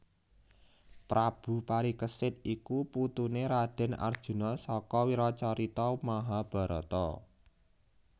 Prabu Parikesit iku putuné Radèn Arjuna saka wiracarita Mahabharata